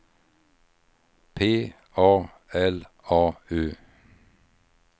P A L A U